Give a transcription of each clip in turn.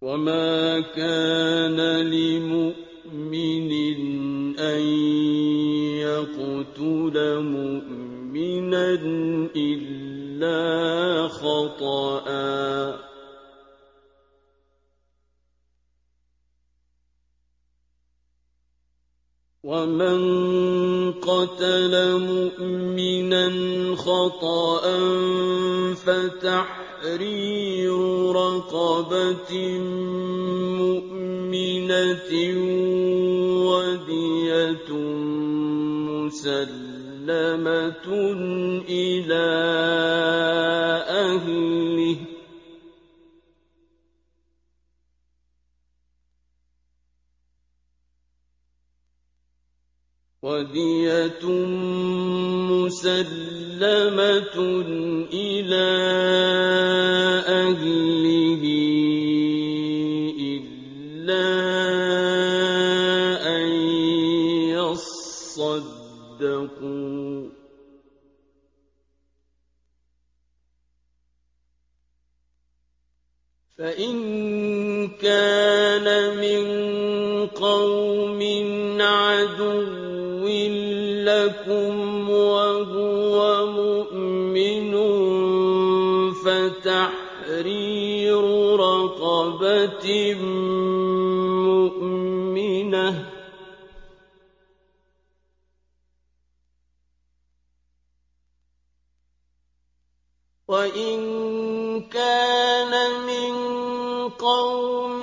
وَمَا كَانَ لِمُؤْمِنٍ أَن يَقْتُلَ مُؤْمِنًا إِلَّا خَطَأً ۚ وَمَن قَتَلَ مُؤْمِنًا خَطَأً فَتَحْرِيرُ رَقَبَةٍ مُّؤْمِنَةٍ وَدِيَةٌ مُّسَلَّمَةٌ إِلَىٰ أَهْلِهِ إِلَّا أَن يَصَّدَّقُوا ۚ فَإِن كَانَ مِن قَوْمٍ عَدُوٍّ لَّكُمْ وَهُوَ مُؤْمِنٌ فَتَحْرِيرُ رَقَبَةٍ مُّؤْمِنَةٍ ۖ وَإِن كَانَ مِن قَوْمٍ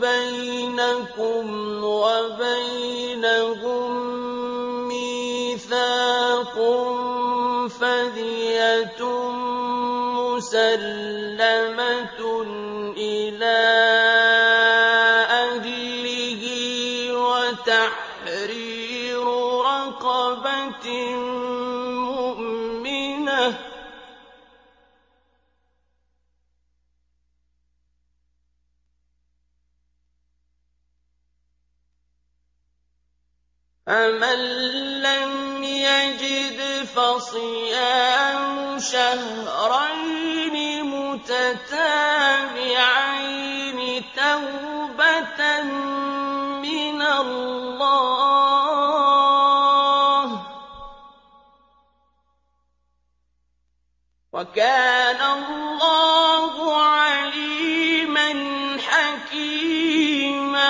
بَيْنَكُمْ وَبَيْنَهُم مِّيثَاقٌ فَدِيَةٌ مُّسَلَّمَةٌ إِلَىٰ أَهْلِهِ وَتَحْرِيرُ رَقَبَةٍ مُّؤْمِنَةٍ ۖ فَمَن لَّمْ يَجِدْ فَصِيَامُ شَهْرَيْنِ مُتَتَابِعَيْنِ تَوْبَةً مِّنَ اللَّهِ ۗ وَكَانَ اللَّهُ عَلِيمًا حَكِيمًا